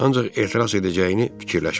Ancaq etiraz edəcəyini fikirləşmişdi.